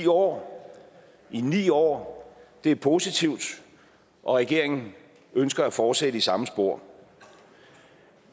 år i ni år det er positivt og regeringen ønsker at fortsætte i samme spor